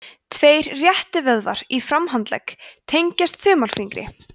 tveir réttivöðvar í framhandlegg tengjast þumalfingri